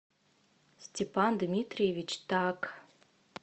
степан дмитриевич так